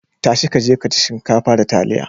Ta shi ka je ka ci shinkafa da taliya.